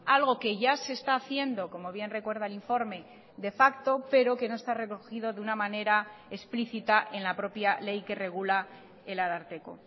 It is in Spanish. algo que ya se está haciendo como bien recuerda el informe de facto pero que no está recogido de una manera explícita en la propia ley que regula el ararteko